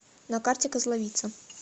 на карте козловица